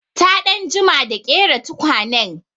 Ta ɗan jima da ƙera tukwanen.